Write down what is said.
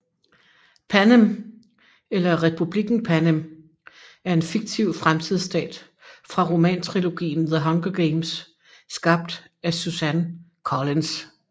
Panem eller Republikken Panem er en fiktiv fremtidsstat fra romantrilogien The Hunger Games skabt af Suzanne Collins